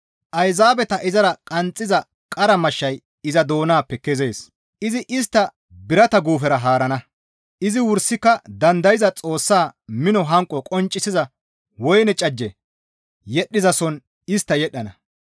Ayzaabeta izara qanxxiza qara mashshay iza doonappe kezees; izi istta birata guufera haarana; izi wursika dandayza Xoossaa mino hanqo qonccisiza woyne cajje yedhdhizason istta yedhdhana.